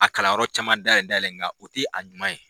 A kalanyɔrɔ caman dayɛlɛ dayɛlɛ ,nga o ti a juman ye.